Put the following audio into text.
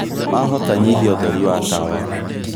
wahota nyĩhĩa ũtheri wa tawa